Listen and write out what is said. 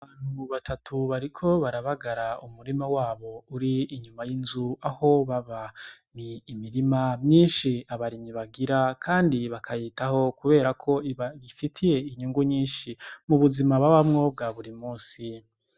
Abantu batatu bariko barabagara umurima wabo uri inyuma y'inzu aho baba ni imirima myinshi abarimyi bagira kandi bakayitaho kubera ko iba ifitiye inyungu nyinshi mu buzima babamwo bwa buri munsi.